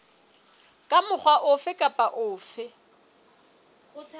ka mokgwa ofe kapa ofe